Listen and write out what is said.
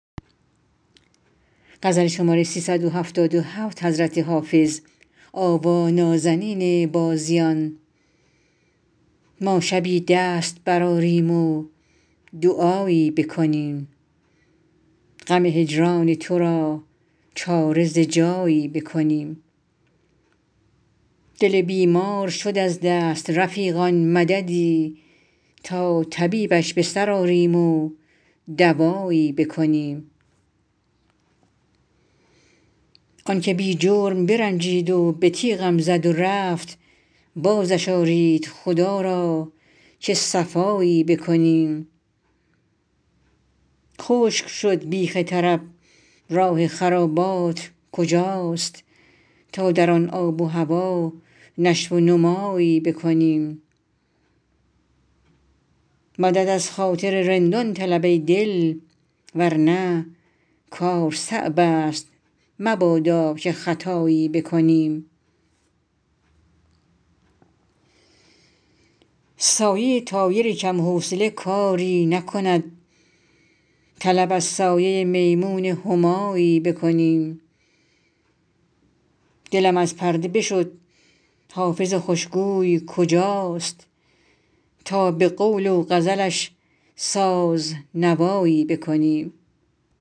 ما شبی دست برآریم و دعایی بکنیم غم هجران تو را چاره ز جایی بکنیم دل بیمار شد از دست رفیقان مددی تا طبیبش به سر آریم و دوایی بکنیم آن که بی جرم برنجید و به تیغم زد و رفت بازش آرید خدا را که صفایی بکنیم خشک شد بیخ طرب راه خرابات کجاست تا در آن آب و هوا نشو و نمایی بکنیم مدد از خاطر رندان طلب ای دل ور نه کار صعب است مبادا که خطایی بکنیم سایه طایر کم حوصله کاری نکند طلب از سایه میمون همایی بکنیم دلم از پرده بشد حافظ خوش گوی کجاست تا به قول و غزلش ساز نوایی بکنیم